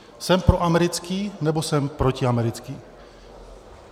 Jsem proamerický, nebo jsem protiamerický?